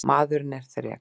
Maðurinn er þrek